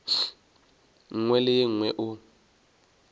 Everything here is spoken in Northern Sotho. nngwe le ye nngwe o